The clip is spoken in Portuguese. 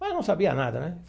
Mas não sabia nada, né?